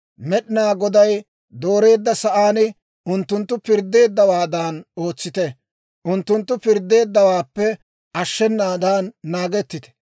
Med'inaa Goday dooreedda sa'aan unttunttu pirddeeddawaadan ootsite; unttunttu pirddeeddawaappe ashshenaadan naagettite.